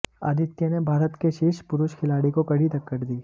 आदित्य ने भारत के शीर्ष पुरुष खिलाड़ी को कड़ी टक्कर दी